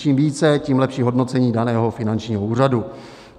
Čím více, tím lepší hodnocení daného finančního úřadu.